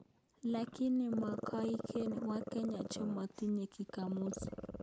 Lakini magoiker wakenya chemotinye king'amuzi